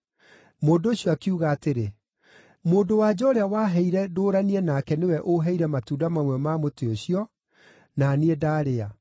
Mũndũ ũcio akiuga atĩrĩ, “Mũndũ-wa-nja ũrĩa waheire ndũũranie nake nĩwe ũũheire matunda mamwe ma mũtĩ ũcio, na niĩ ndarĩa.”